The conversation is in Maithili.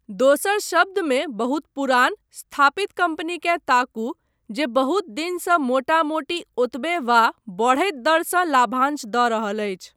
दोसर शब्द मे बहुत पुरान, स्थापित कम्पनीकेँ ताकू जे बहुत दिनसँ मोटा मोटी ओतबे वा बढ़ैत दरसँ लाभांश दऽ रहल अछि।